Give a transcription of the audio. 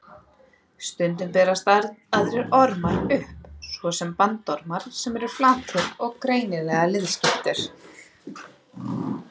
Stundum berast aðrir ormar upp, svo sem bandormar sem eru flatir og greinilega liðskiptir.